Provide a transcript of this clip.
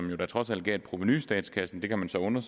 jo da trods alt gav et provenu i statskassen vi kan så undre